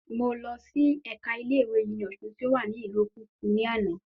Mo lọ sí ẹ̀kà ilé ìwé Uniosun ti o wa ni ìlú òkukù ní àná